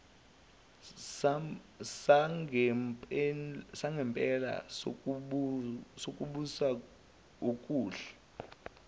sangempela sokubusa okuhle